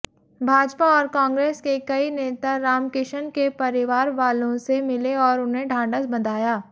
भाजपा और कांग्रेस के कई नेता रामकिशन के परिवारवालों से मिले और उन्हें ढांढस बंधाया